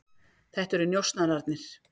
Þetta eru njósnararnir.